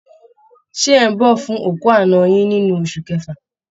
Ṣé ẹ̀ ń bọ̀ fún òkú àná yín nínú oṣù kẹfà?